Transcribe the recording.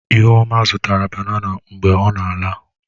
Ihuoma zụtara banana mgbe ọ na-ala.